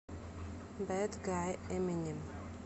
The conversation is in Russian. бэд гай эминем